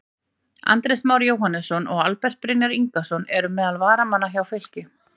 Andrés Már Jóhannesson og Albert Brynjar Ingason eru meðal varamanna hjá Fylki.